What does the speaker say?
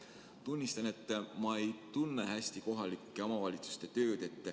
Tunnistan, et ma ei tunne hästi kohalike omavalitsuste tööd.